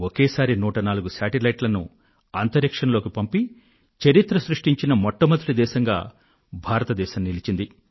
ఒకేసారి 104 ఉపగ్రహాలను అంతరిక్షంలోకి పంపి చరిత్ర సృష్టించిన మొట్టమొదటి దేశంగా భారతదేశం నిలిచింది